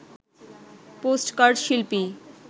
postcard শিল্পী